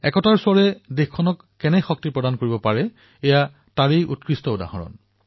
একতাৰ সেই স্বৰে দেশক কেনেদৰে শক্তি প্ৰদান কৰে এয়া তাৰ জীৱন্ত উদাহৰণ